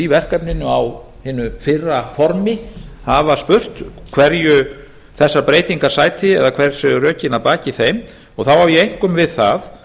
verkefninu á hinu fyrra formi hafa spurt hverju þessar breytingar sæti eða hver séu rökin að baki þeim þá á eg einkum við það